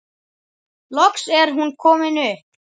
Loks er hún komin upp.